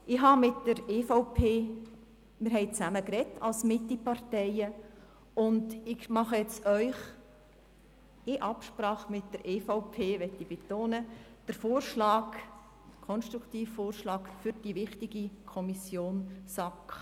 In Absprache mit der EVP – dies möchte ich betonen – mache ich Ihnen einen konstruktiven Vorschlag für die wichtige Kommission SAK.